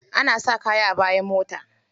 Ana saka kaya a bayan mota.